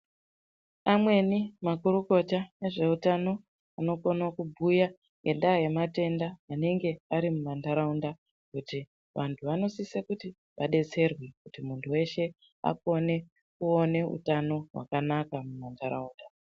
Amweni makurukota ezveutano anokone kubhuya ngendaa yematenda anenge ari mumantharaunda, kuti vanhu vanosise kuti vadetserwe, kuti muntu weshe akone kuone utano hwakanaka muntharaunda.